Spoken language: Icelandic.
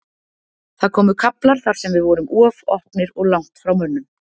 Það komu kaflar þar sem við vorum of opnir og langt frá mönnum.